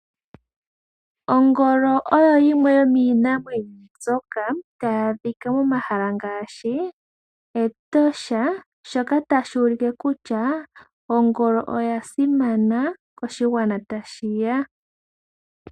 Ongolo oyo yimwe yomiinamwenyo mbyoka taya adhika pomahala ngaashi Etosha, shoka tashi u like kutya ongolo oya simana koshigwana tashi ya.